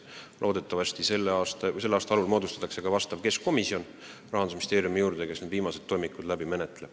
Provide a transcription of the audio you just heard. Loodetavasti selle aasta algul moodustatakse Rahandusministeeriumi juurde ka keskkomisjon, kes need toimikud läbi menetleb.